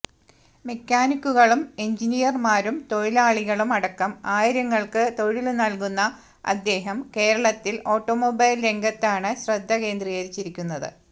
മെക്കാനിക്കുകളും എന്ജിനീയര്മാരും തൊഴിലാളികളും അടക്കം ആയിരങ്ങൾക്ക് തൊഴില് നല്കുന്ന അദ്ദേഹം കേരളത്തില് ഓട്ടോമൊബൈല് രംഗത്താണ് ശ്രദ്ധ കേന്ദ്രീകരിച്ചിരിക്കുന്നത്